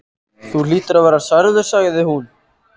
Þú hlýtur að vera særður sagði hún.